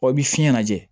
Ɔ i bɛ fiɲɛ lajɛ